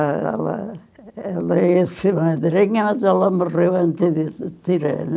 A ela ela esse madrinha, mas ela morreu antes de tirá-la.